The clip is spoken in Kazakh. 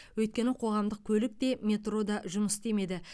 өйткені қоғамдық көлік те метро да жұмыс істемеді